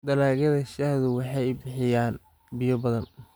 Dalagyada shaahdu waxay u baahan yihiin biyo badan.